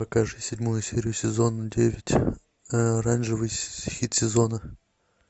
покажи седьмую серию сезона девять оранжевый хит сезона